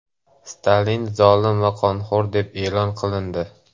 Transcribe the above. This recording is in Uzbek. Stalin zolim va qonxo‘r deb e’lon qilindi.